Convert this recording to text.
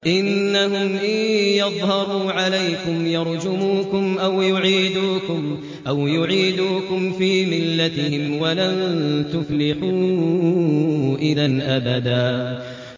إِنَّهُمْ إِن يَظْهَرُوا عَلَيْكُمْ يَرْجُمُوكُمْ أَوْ يُعِيدُوكُمْ فِي مِلَّتِهِمْ وَلَن تُفْلِحُوا إِذًا أَبَدًا